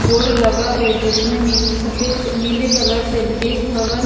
board लगा है जिसमें नील सफेद नीले कलर से विदेश भवन --